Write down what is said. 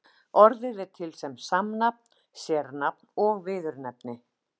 Orðið er til sem samnafn, sérnafn og viðurnefni.